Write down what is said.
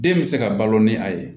Den bɛ se ka balo ni a ye